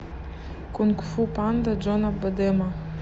кунг фу панда джона бадема